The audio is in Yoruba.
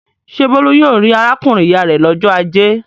Ṣé Bólú yóò rí arákùnrin-ìyá rẹ̀ lọ́jọ́ ajé?